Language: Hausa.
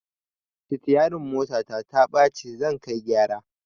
Sitiyarin motata taɓa ci zan kai gyara